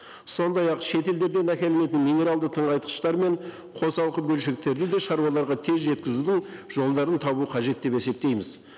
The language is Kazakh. сондай ақ шетелдерден әкелінетін минералды тыңайтқыштар мен қосалқы бөлшектерді де шаруаларға тез жеткізудің жолдарын табу қажет деп есептейміз